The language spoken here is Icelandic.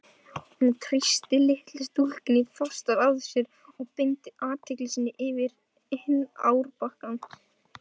Hún þrýsti litlu stúlkunni fastar að sér og beindi athygli sinni yfir á hinn árbakkann.